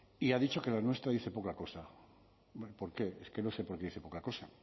y ha dicho que la nuestra dice poca cosa por qué es que no sé por qué dice poca cosa